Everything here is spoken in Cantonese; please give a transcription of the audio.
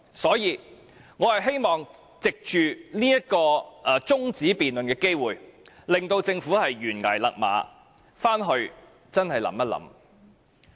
所以，我希望藉着這項中止待續議案辯論，請政府懸崖勒馬，回去好好想一想。